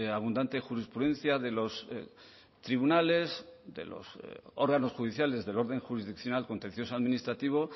abundante jurisprudencia de los tribunales de los órganos judiciales del orden jurisdiccional contencioso administrativo